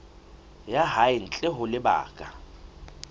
ya hae ntle ho lebaka